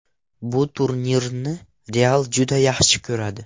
Bu turnirni ‘Real’ juda yaxshi ko‘radi.